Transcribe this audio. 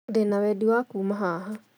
Ndĩna wendi wa kuuma haha